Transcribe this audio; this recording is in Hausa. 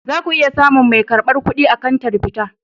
Za ku iya samun mai karbar kuɗi a kantar fita.